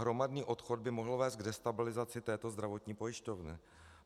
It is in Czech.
Hromadný odchod by mohl vést k destabilizaci této zdravotní pojišťovny.